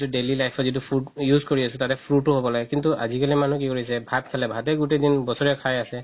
daily life ৰ যিতো food use কৰি আছো তাত fruit ও হ'ব লাগে কিন্তু আজিকালি মানুহ কি কৰিছে ভাত খালে গুতেই বছৰে খাই আছে